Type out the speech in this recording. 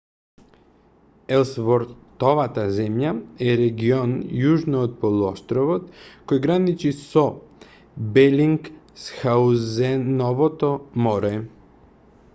елсвортовата земја е регион јужно од полуостровот која граничи со белингсхаузеновото море